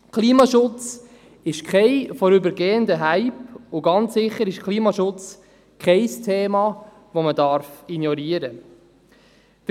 Klimaschutz ist kein vorübergehender Hype, und ganz sicher ist Klimaschutz kein Thema, das man ignorieren darf.